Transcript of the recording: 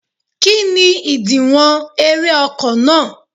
Kí ni ìdiwọ̀n eré ọkọ̀ náà?